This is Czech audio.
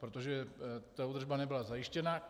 Protože ta údržba nebyla zajištěna.